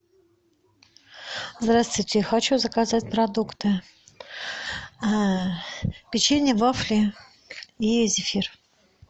здравствуйте хочу заказать продукты печенье вафли и зефир